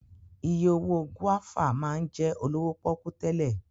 Iye owó gúáfà máa ń jẹ́ olówó pọ́kú tẹ́lẹ̀